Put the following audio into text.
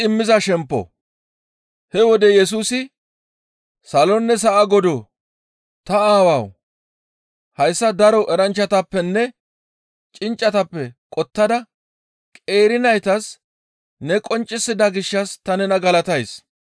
He wode Yesusi, «Salonne sa7a Godoo! Ta Aawawu! Hayssa daro eranchchatappenne cinccatappe qottada qeeri naytas ne qonccisida gishshas ta nena galatays.